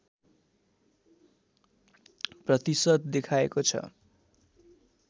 प्रतिशत देखाएको छ